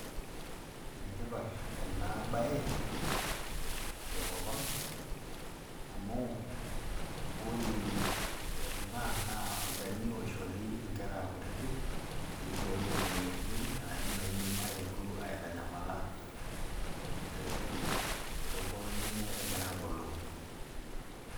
Enetipat ena baye tenkopang' amu oree ena naa olchani oishori nkerah kutiti peibooyo moyaritin naatum eidim aitanyamala [tee] toonkolong'i enye egiraabulu.